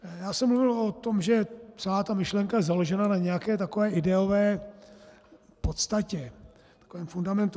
Já jsem mluvil o tom, že celá ta myšlenka je založena na nějaké takové ideové podstatě, takovém fundamentu.